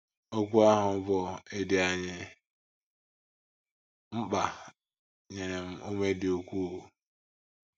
Okwu ahụ bụ́ ‘ Ị dị anyị mkpa ’ nyere m ume dị ukwuu.